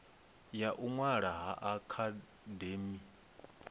ya u ṅwala ha akademi